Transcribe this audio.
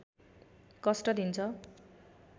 कष्ट दिन्छ